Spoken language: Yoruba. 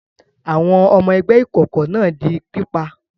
Àwọn ọmọ ẹgbẹ́ ìkọ̀kọ̀ náà di pípa?